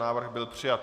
Návrh byl přijat.